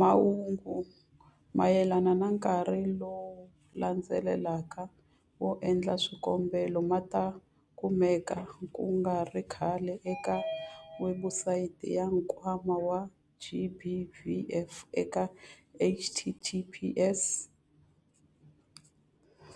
Mahungu mayelana na nkarhi lowu landzelaka wo endla swikombelo ma ta kumeka ku nga ri khale eka webusayiti ya Nkwama wa GBVF eka- https-